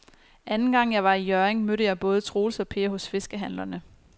Anden gang jeg var i Hjørring, mødte jeg både Troels og Per hos fiskehandlerne.